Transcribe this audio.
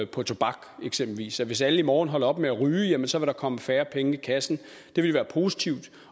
på tobak eksempelvis hvis alle i morgen holder op med at ryge jamen så vil der komme færre penge i kassen det ville være positivt